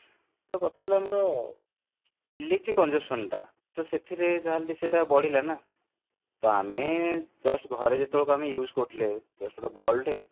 ତ କଥା ହେଲା ଆମର electric consumption ଟା ତ ସେଥିରେ ଯାହା ହେଲେ ବି ସେଇଟା ବଢିଲା ନା ତ just ଘରେ ଯେତେବେଳେ use କରୁଥିଲେ just ଗୋଟେ bulb ଟେ